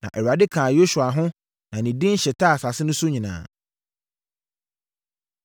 Na Awurade kaa Yosua ho na ne din hyetaa asase no so nyinaa.